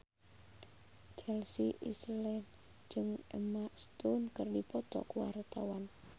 Chelsea Islan jeung Emma Stone keur dipoto ku wartawan